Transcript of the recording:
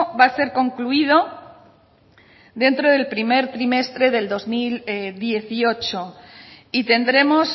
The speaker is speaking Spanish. va a ser concluido dentro del primer trimestre de dos mil dieciocho y tendremos